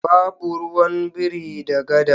Babu ruwan biri da gada.